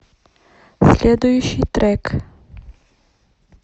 следующий трек